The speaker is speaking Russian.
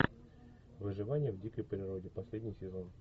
выживание в дикой природе последний сезон